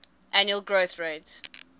annual growth rate